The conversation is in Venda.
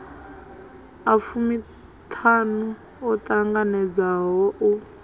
a fumiṱhanu o ṱanganedzwaho u